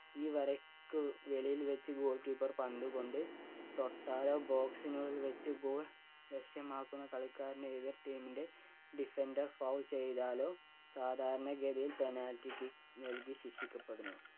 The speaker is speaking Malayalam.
ഈ വരക്ക് വെളിയിൽ വച്ച് goal keeper പന്ത് കൊണ്ട് തൊട്ടാലോ box നുള്ളിൽ വച്ച് goal ലക്ഷ്യമാക്കുന്ന കളിക്കാരന് എതിർ team ൻ്റെ defender foul ചെയ്താലോ സാധാരണ ഗതിയിൽ penalty kick നൽകി ശിക്ഷിക്കപ്പെടുന്നു.